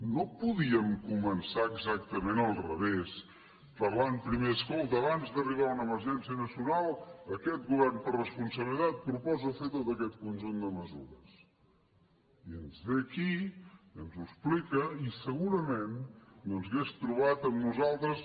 no podíem començar exactament al revés parlant primer escolta abans d’arribar una emergència nacional aquest govern per responsabilitat proposa fer tot aquest conjunt de mesures i ens ve aquí i ens ho explica i segurament doncs hauria trobat en nosaltres